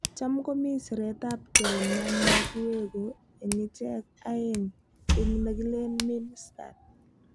"Cham ko mii siret ap kei na ma kiweku ing ichek aeng ing nekilen Minn. stat.